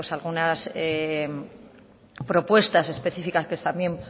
algunas propuestas específicas que también